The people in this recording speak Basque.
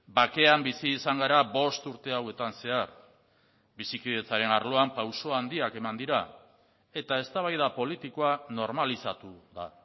bakean bizi izan gara bost urte hauetan zehar bizikidetzaren arloan pauso handiak eman dira eta eztabaida politikoa normalizatu da